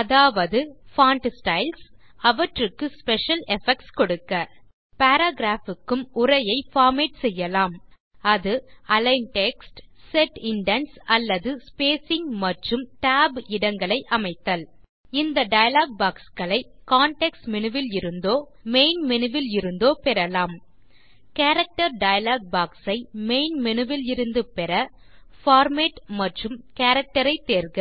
அதாவது font styles அவற்றுக்கு special effects கொடுக்க பாராகிராப் க்கும் உரையை பார்மேட் செய்யலாம் அது அலிக்ன் டெக்ஸ்ட் செட் இண்டென்ட்ஸ் அல்லது ஸ்பேசிங் மற்றும் tab இடங்களை அமைத்தல் இந்த டயலாக் பாக்ஸ் களை கான்டெக்ஸ்ட் மேனு விலிருந்தோ மெயின் மேனு விலிருந்தோ பெறலாம் கேரக்டர் டயலாக் பாக்ஸ் ஐ மெயின் மேனு விலிருந்து பெற பார்மேட் மற்றும் Characterஐ தேர்க